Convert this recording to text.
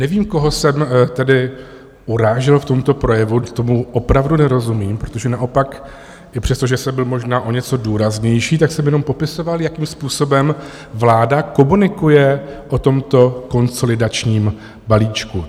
Nevím, koho jsem tedy urážel v tomto projevu, tomu opravdu nerozumím, protože naopak i přesto, že jsem byl možná o něco důraznější, tak jsem jenom popisoval, jakým způsobem vláda komunikuje o tomto konsolidačním balíčku.